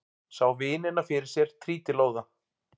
Sá vinina fyrir sér trítilóða.